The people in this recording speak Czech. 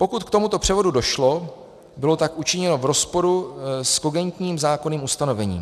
Pokud k tomuto převodu došlo, bylo tak učiněno v rozporu s kogentním zákonným ustanovením.